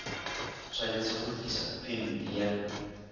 tshwanetse go tlisa phemiti ya